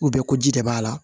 ko ji de b'a la